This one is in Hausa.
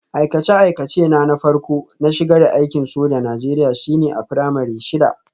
Aikace-aikacena na farko na shiga aikin sojan Najeriya shine a firamare shida